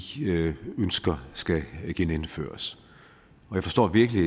ønsker skal genindføres jeg forstår virkelig